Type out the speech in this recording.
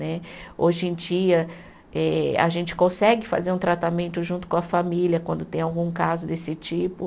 Né. Hoje em dia eh a gente consegue fazer um tratamento junto com a família quando tem algum caso desse tipo.